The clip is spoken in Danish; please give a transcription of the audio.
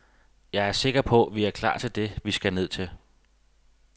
Jeg er sikker på, vi er klar til det, vi skal ned til.